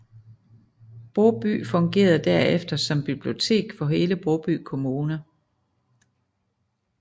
Broby fungerede derefter som bibliotek for hele Broby Kommune